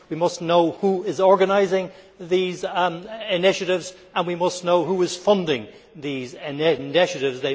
We must know who is organising these initiatives and we must know who is funding these initiatives.